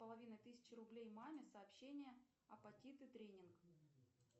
половина тысячи рублей маме сообщение апатиты тренинг